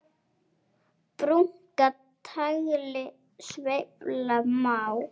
Brúnka tagli sveifla má.